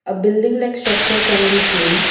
A building like structure can be seen.